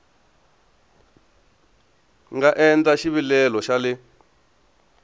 nga endla xivilelo xa le